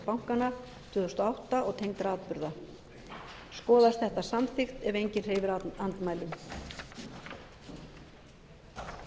bankanna tvö þúsund og átta og tengdra atburða skoðast þetta samþykkt ef enginn hreyfir andmælum